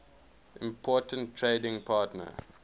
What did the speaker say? important trading partner